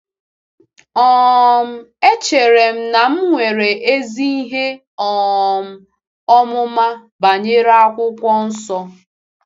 um Echere m na m nwere ezi ihe um ọmụma banyere Akwụkwọ Nsọ.